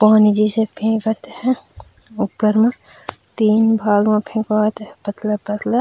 पानी जैसा फेकत हे ऊपर में तीन भाग म फेकात हे पतला-पतला--